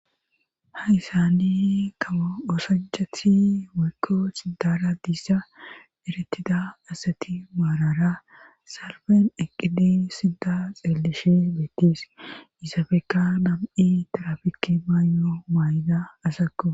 hayssani kao osanchathi waykko xidara diissa eretida asati maarara salben eqqidi sidda xeellishe beettis yisaafeka nam7i tarafikki maayo maayda asakko